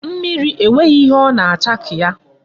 Mmiri e nweghị ihe ọ na-acha ka ya.